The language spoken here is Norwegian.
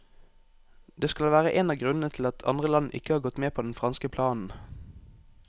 Det skal være en av grunnene til at andre land ikke har gått med på den franske planen.